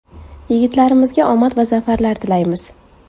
Yigitlarimizga omad va zafarlar tilaymiz.